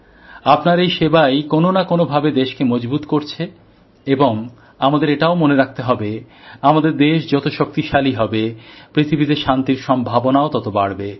আপনার এই সেবাই কোনও না কোনও ভাবে দেশ কে মজবুত করছে এবং আমাদের এটাও মনে রাখতে হবে আমাদের দেশ যত শক্তিশালী হবে পৃথিবীতে শান্তির সম্ভাবনাও তত বাড়বে